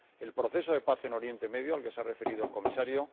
el proceso de paz en Oriente Medio, al que se ha referido el Comisario